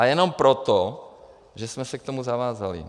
A jenom proto, že jsme se k tomu zavázali.